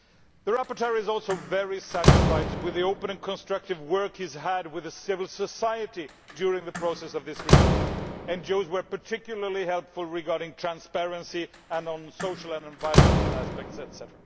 The rapporteur is also very satisfied with the open and constructive work he has had with civil society during the work on of this report. NGOs were particularly helpful regarding transparency and on social and environmental aspects, etc.